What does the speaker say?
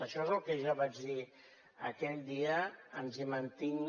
això és el que jo vaig dir aquell dia ens hi mantenim